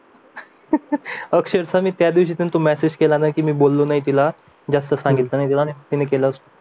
okay त्यादिवशी तिथून message केला ना की मी बोललो नाही तिलाजास्त सांगितलं नाही तिने केलं असेल